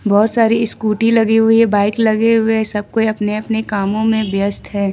बहुत सारी स्कूटी लगी हुई है बाइक लगे हुए है सब कोई अपने अपने कामों में व्यस्त है।